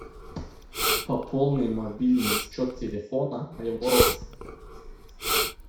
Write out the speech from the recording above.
пополни мобильный счет телефона моего родственника